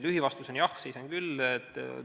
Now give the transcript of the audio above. Lühivastus on: jah, seisan küll.